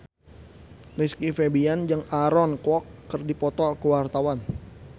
Rizky Febian jeung Aaron Kwok keur dipoto ku wartawan